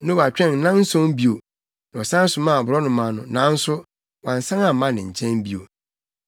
Noa twɛn nnanson bio, na ɔsan somaa aborɔnoma no, nanso wansan amma ne nkyɛn bio.